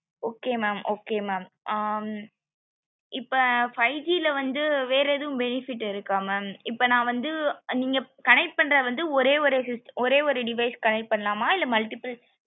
okay mam okay mam ஆஹ் இப்போ five G ல வந்து வேற ஏதும் benefit இருக்க mam இப்போ நா வந்து நீங்க connect பண்றது வந்து ஒரே ஒரு device connect பண்ணலாமா இல்ல multiple